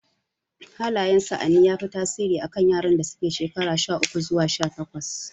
Hallayen sa'anni ya fi tasiri a kan yaran da suke shekaru sha uku zuwa sha takwas